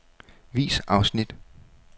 Vis afsnit.